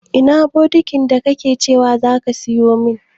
Ina bukitin da ka ce za ka sayo min?